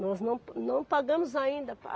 Nós não, não pagamos ainda.